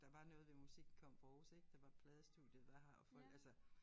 Der var noget ved musik kom fra Aarhus ik der var pladestudiet der har og folk altså